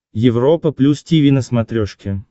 европа плюс тиви на смотрешке